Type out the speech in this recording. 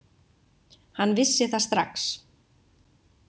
Hann vissi það strax.